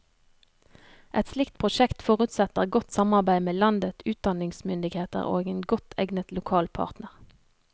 Et slikt prosjekt forutsetter godt samarbeid med landet utdanningsmyndigheter og en godt egnet lokal partner.